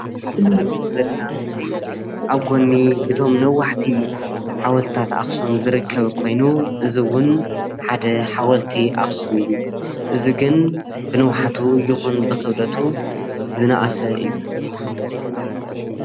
እዚ እንሪኦ ዘለና ምስሊ ኣብ ጎኒ እቶም ነዋሕቲ ሓወልትታት ኣኽሱም ዝርከብ ኮይኑ እዚ ውን ሓደ ሓወልቲ ኣኽሱም እዩ። እዚ ግን ብንውሓቱ ይኹን ብኽብደቱ ዝነኣሰ እዩ።